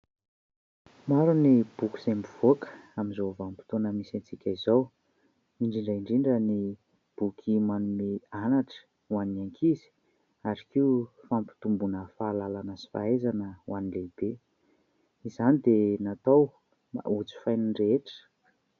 Maro ny boky izay mivoaka amin'izao vanim-potoana misy antsika izao, indrindra indrindra ny boky manome anatra ho an'ny ankizy ary koa fampitombona fahalalana sy fahaizana ho an'ny lehibe. Izany dia natao ho jifain'ny rehetra.